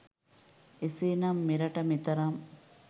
එසේ නම් මෙරට මෙතරම්